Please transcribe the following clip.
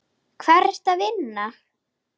Hvar ertu að vinna?